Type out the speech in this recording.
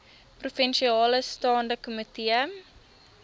provinsiale staande komitee